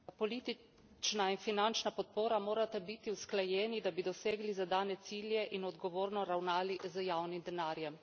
Politična in finančna podpora morata biti usklajeni, da bi dosegli zadane cilje in odgovorno ravnali z javnim denarjem.